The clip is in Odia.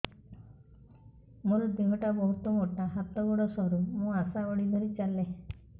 ମୋର ଦେହ ଟା ବହୁତ ମୋଟା ହାତ ଗୋଡ଼ ସରୁ ମୁ ଆଶା ବାଡ଼ି ଧରି ଚାଲେ